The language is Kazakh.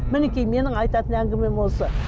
мінекей менің айтатын әнгімем осы